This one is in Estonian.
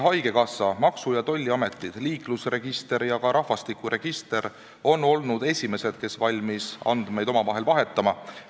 Haigekassa, maksu- ja tolliamet, liiklusregister ja ka rahvastikuregister mõlemas riigis on olnud esimesed, kes on valmis andmeid omavahel vahetama.